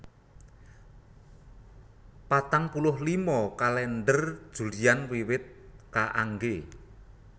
Patang puluh lima Kalèndher Julian wiwit kaanggé